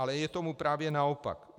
Ale je tomu právě naopak.